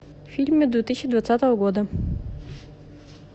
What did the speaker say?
фильмы две тысячи двадцатого года